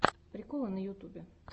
приколы на ютюбе